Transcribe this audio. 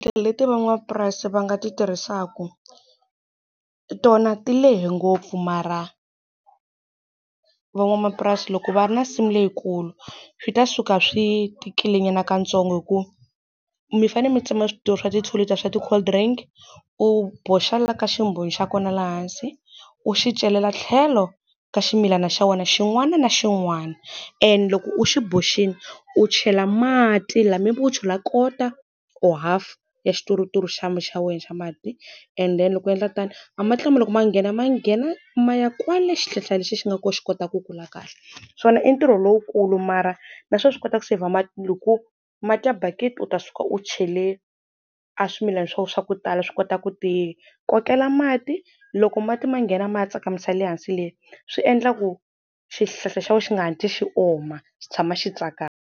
Leti van'wamapurasi va nga ti tirhisaka, tona ti lehe ngopfu mara van'wamapurasi loko va ri na nsimu leyikulu, swi ta suka swi tikile nyana ka ntsongo hikuva mi fanele mi tsema swa ti two liter swa ti-cold drink, u boxa laha ka ximbonyo xa kona laha hansi, u xi celela tlhelo ka ximilana xa wena xin'wana na xin'wana. And loko u xi boxile u chela mati u chela quarter, or half ya xituruturu xa xa wena xa mati and then loko u endla tani, amati lama loko ma nghena ma nghena ma ya kwale xihlahla lexi xi nga kona xi kota ku kula kahle. Swona i ntirho lowukulu mara na swona swi kota ku seyivha mati. Loko mati ya bakiti u ta suka u chele aswimilana swa wena swa ku tala swi kota ku ti kokela mati. Loko mati ma nghena ma ya tsakamisa le hansi le, swi endla ku xihlahla xa wena xi nga hatli xi oma xi tshama xi tsakama.